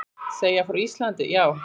Segja frá Íslandi, já.